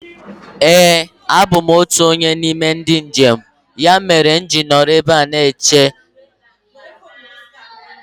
Éè a bụ m otụ onye n'ime ndị njem. Ya meere mụ ji nọrọ ọdụ ebe a na-eche